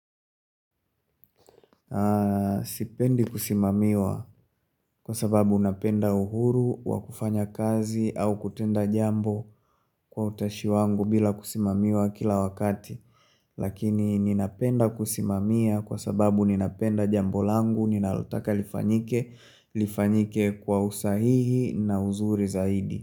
Sipendi kusimamiwa kwa sababu napenda uhuru, wa kufanya kazi au kutenda jambo kwa utashi wangu bila kusimamiwa kila wakati Lakini ninapenda kusimamia kwa sababu ninapenda jambo langu, ninalotaka lifanyike, lifanyike kwa usahihi na uzuri zaidi.